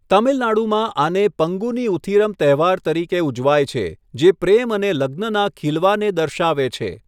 તમિલનાડુમાં આને પંગુની ઉથિરમ તહેવાર તરીકે ઉજવાય છે જે પ્રેમ અને લગ્નના ખીલવાને દર્શાવે છે.